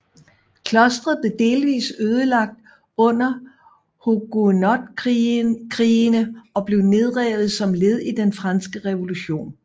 Klostret blev delvist ødelagt under Huguenotkrigene og blev nedrevet som led i den franske revolution